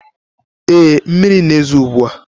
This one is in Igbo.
Ee, mmiri na-ezo ugbu a.